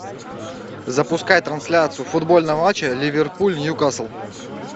запускай трансляцию футбольного матча ливерпуль ньюкасл